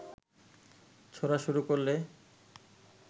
ছোঁড়া শুরু করলে